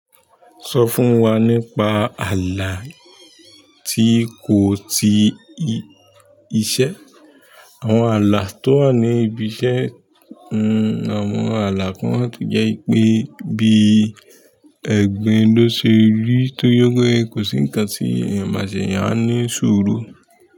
So fún wa nípa alaa ti ko ti iṣẹ́? Àwọn ààlà tó wà ní ibi iṣẹ́, àwọn ààlà kan tó jẹ́ pé bí ẹ̀gbin ló ṣe rí tó yóó gbé, kò sí ǹkan tí eyan mase ẹ̀yàn á ní ṣuru.